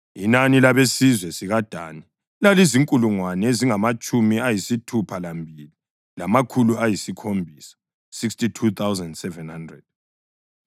Inani labesizwe sikaDani lalizinkulungwane ezingamatshumi ayisithupha lambili, lamakhulu ayisikhombisa (62,700).